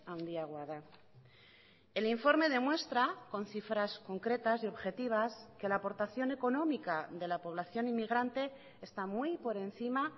handiagoa da el informe demuestra con cifras concretas y objetivas que la aportación económica de la población inmigrante está muy por encima